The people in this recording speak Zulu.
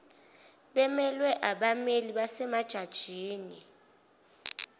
bemelwe abammeli basemajajini